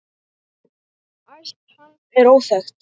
Ætt hans er óþekkt.